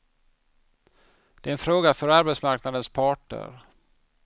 Det är en fråga för arbetsmarknadens parter.